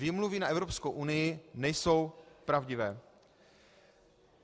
Výmluvy na Evropskou unii nejsou pravdivé.